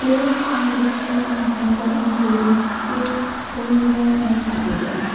clothes are display on hanger including kids women wear and party wear.